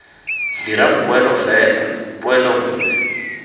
dirang poelo fela poelo nngwe